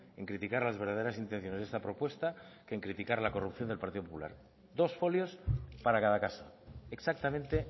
en criticar las verdaderas intenciones de esta propuesta que en criticar la corrupción del partido popular dos folios para cada caso exactamente